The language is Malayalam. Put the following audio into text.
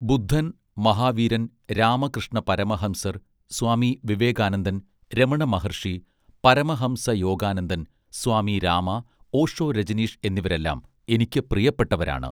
ബുദ്ധൻ മഹാവീരൻ രാമകൃഷ്ണ പരമഹംസർ സ്വാമി വിവേകാനന്ദൻ രമണ മഹർഷി പരമഹംസയോഗാനന്ദൻ സ്വാമി രാമ ഓഷോ രജനീഷ് എന്നിവരെല്ലാം എനിക്കു പ്രിയപ്പെട്ടവരാണ്